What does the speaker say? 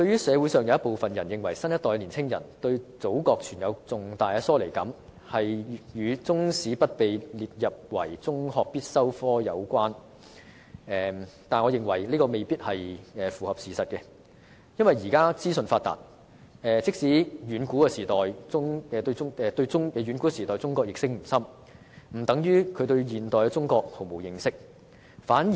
社會上有部分人士認為，新一代的年輕人對祖國存有重大疏離感，與中史不被列為中學必修科有關，但我認為這未必符合事實，因為現時資訊發達，即使他們對遠古時代的中國認識不深，並不等於他們對現代中國毫無認識。